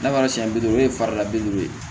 N'a fɔra siɲɛ bi duuru ye farala bi duuru ye